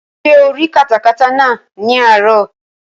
Ṣé o rí katakata náà ní àárọ̀?